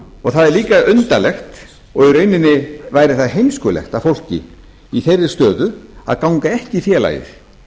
það er líka undarlegt og í launin væri það heimskulegt af fólki í þeirri stöðu að ganga ekki í félagið